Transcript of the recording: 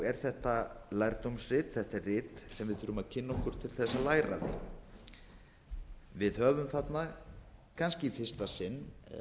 er þetta lærdómsrit þetta er rit sem við þurfum að kynna okkur til að læra af því við höfum þarna kannski í fyrsta sinn